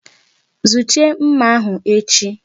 Zuchie nmà ahụ echi!